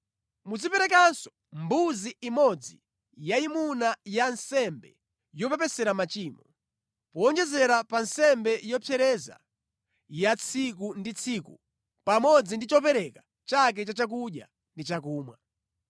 Muziperekenso mbuzi imodzi yayimuna ya nsembe yopepesera machimo, powonjezera pa nsembe yopsereza ya tsiku ndi tsiku pamodzi ndi chopereka chake cha chakudya ndi chakumwa.